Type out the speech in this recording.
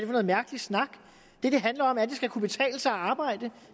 noget mærkelig snak det det handler om er at det skal kunne betale sig at arbejde